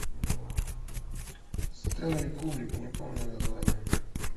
стэнли кубрик не помню название